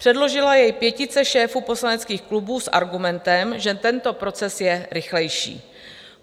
Předložila jej pětice šéfů poslaneckých klubů s argumentem, že tento proces je rychlejší.